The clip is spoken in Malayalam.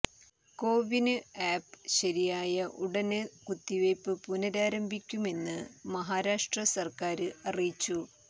കോവിന് ആപ്പ് ശരിയായ ഉടന് കുത്തിവെപ്പ് പുനരാരംഭിക്കുമെന്ന് മഹാരാഷ്ട്ര സര്ക്കാര് അറിയിച്ചു